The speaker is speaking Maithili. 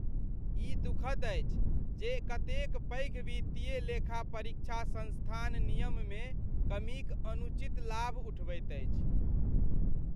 ई दुखद अछि जे कतेक पैघ वित्तीय लेखापरीक्षा संस्थान नियममे कमीक अनुचित लाभ उठबैत अछि।